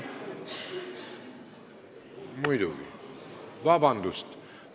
Muidugi, vabandust!